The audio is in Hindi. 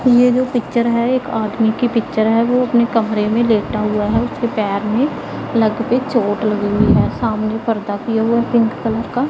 ये जो पिक्चर है एक आदमी की पिक्चर है वो अपने कमरे में लेटा हुआ है उसके पैर में लगते चोट लगी है सामने पर्दा किए हुए पिंक कलर का--